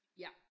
Ja